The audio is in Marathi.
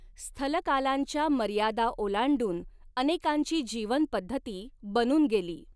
स्थलकालांच्या मर्यादा ओलांडून अनेकांची जीवनपद्धती बनून गेली.